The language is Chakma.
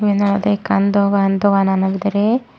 eyen olodey ikkan dogan doganano bidire.